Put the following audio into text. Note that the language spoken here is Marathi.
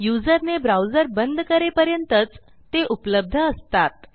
युजरने ब्राउझर बंद करेपर्यंतच ते उपलब्ध असतात